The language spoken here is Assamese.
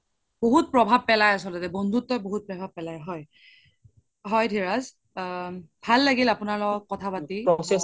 বহুত প্ৰভাৱ পেলাই আচল্তে বন্ধুত্বই বহুত প্ৰভাৱ পেলাই হয়, হয় ধিৰাজ ভাল লাগিল আপোনাৰ লগত কথা পাতি